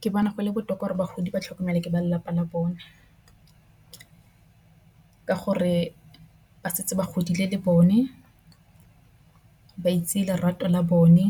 Ke bona go le botoka gore bagodi ba tlhokomelwa ke ba lelapa la bone. Ka gore ba setse ba godile le bone ba itse lerato la bone